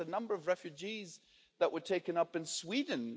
Look at the number of refugees that were taken in in Sweden.